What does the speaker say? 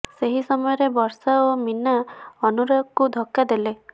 ସେହି ସମୟରେ ବର୍ଷା ଓ ମୀନା ଅନୁରାଗକୁ ଧକ୍କା ଦେଲେ